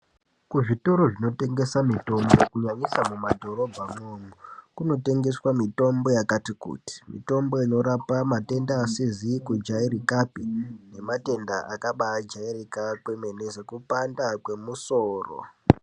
Kuzvitoro zvinotengesa mitombo kunyanyisa mumadhorobha mwoumo kunotengeswa mitombo yakati kuti mitombo inorapa matenda asizikujairikapi nematenda akabajairika kwemene sekupanda kwemusoro .